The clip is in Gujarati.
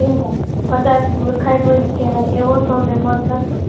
કહેવાય કદાચ મૂર્ખાઈ ભર્યું કહેવાય એવો સૌનો મત હતો